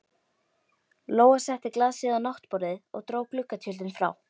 Lóa setti glasið á náttborðið og dró gluggatjöldin frá.